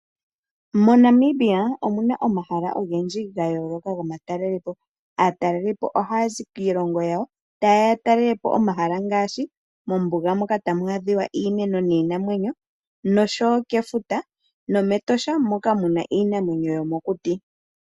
MoNamibia omuna ogendji ga yooloka gomatalelopo. Aatalelipo ohaa zi kiilongo yawo, ta yeya yatalelepo omahala ngaashi ombuga moka tamu adhika iimeno niinamwenyo, kefuta oshowo metosha moka tamu adhika iinamwenyo yomokuti.